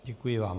Děkuji vám.